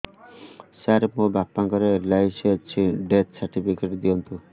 ସାର ମୋର ବାପା ଙ୍କର ଏଲ.ଆଇ.ସି ଅଛି ଡେଥ ସର୍ଟିଫିକେଟ ଦିଅନ୍ତୁ